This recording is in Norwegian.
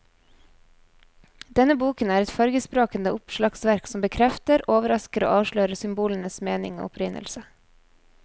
Denne boken er et fargesprakende oppslagsverk som bekrefter, overrasker og avslører symbolenes mening og opprinnelse.